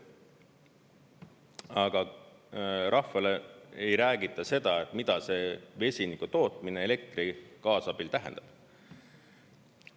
Aga rahvale ei räägita seda, mida see vesiniku tootmine elektri kaasabil tähendab.